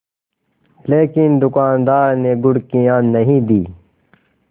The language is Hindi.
लेकिन दुकानदार ने घुड़कियाँ नहीं दीं